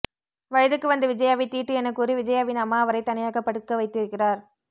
வயதுக்கு வந்த விஜயாவை தீட்டு எனக் கூறி விஜயாவின் அம்மா அவரை தனியாக படுக்க வைத்திருக்கிறார்